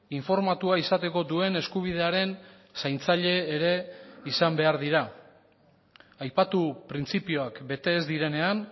informatua izateko duen eskubidearen zaintzaile ere izan behar dira aipatu printzipioak bete ez direnean